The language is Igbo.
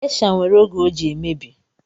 Geisha nwere oge o ji emebi